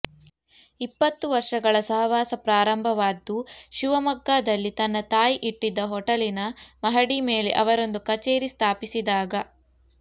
ಇಪ್ಪತ್ತು ವರ್ಷಗಳ ಸಹವಾಸ ಪ್ರಾರಂಭವಾದ್ದು ಶಿವಮೊಗ್ಗದಲ್ಲಿ ತನ್ನ ತಾಯಿ ಇಟ್ಟಿದ್ದ ಹೋಟಲಿನ ಮಹಡಿ ಮೇಲೆ ಅವರೊಂದು ಕಛೇರಿ ಸ್ಥಾಪಿಸಿದಾಗ